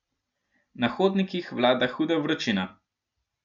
Na hodnikih vlada huda vročina.